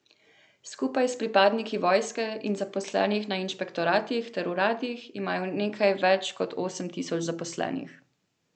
Skupaj s pripadniki vojske in zaposlenimi na inšpektoratih ter uradih imajo nekaj več kot osem tisoč zaposlenih.